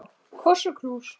Koss og knús.